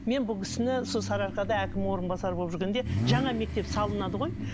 мен бұл кісіні сол сарыарқада әкім орынбасары болып жүргенде жаңа мектеп салынады ғой